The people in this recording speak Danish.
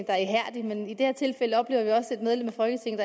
er ihærdig men i det her tilfælde oplever vi også et medlem af folketinget